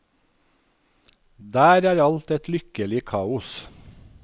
Der er alt et lykkelig kaos.